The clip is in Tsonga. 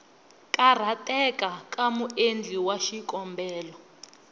karhateka ka muendli wa xikombelo